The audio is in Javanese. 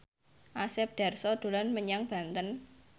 Asep Darso dolan menyang Banten